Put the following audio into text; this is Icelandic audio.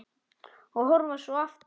Og horfa svo aftur.